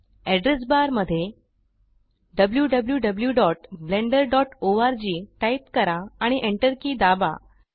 address bar मध्ये wwwblenderorg type करा आणि एंटर की दाबा